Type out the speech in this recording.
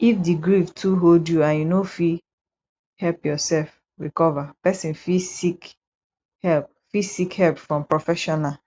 if di grief too hold you and you no fit help yourself recover person fit seek help fit seek help from professional